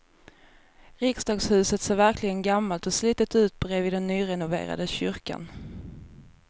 Riksdagshuset ser verkligen gammalt och slitet ut bredvid den nyrenoverade kyrkan.